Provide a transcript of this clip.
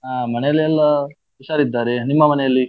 ಅಹ್ ಮನೆಯಲ್ಲೆಲ್ಲಾ ಹುಷಾರ್ ಇದ್ದಾರೆ, ನಿಮ್ಮ ಮನೆಯಲ್ಲಿ?